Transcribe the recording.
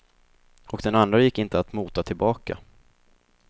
Och den andra gick inte att mota tillbaka.